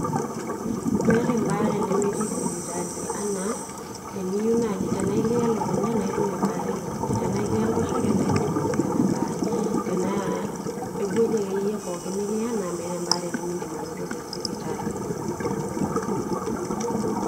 meta ebaare nemetii sipitali anaa ,tenaa ekiya elukunya naa idim anototo ebaare elukunya, tena ekiya enkoshoke, naa idim anoto ina baare, ewueji akeyie nikiya, naa meeta ebaare nemidim anoto te sipitali.